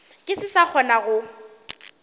ke se sa kgona go